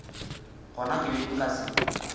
gona ke be nka se